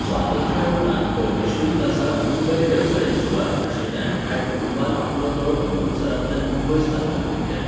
स्वातंत्र्याउपरांत परमेश्वरीदासाक मुंबय वेवसायीक सुवार्थ आशिल्ल्यान ह्या कुटुंबान आपलो तळ अमृतसरांतल्यान मुंबय स्थलांतरीत केलो.